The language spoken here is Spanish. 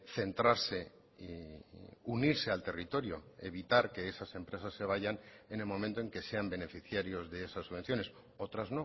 centrarse unirse al territorio evitar que esas empresas se vayan en el momento en que sean beneficiarios de esas subvenciones otras